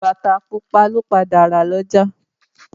Bàtá pupa lo padà rà lọ́jà.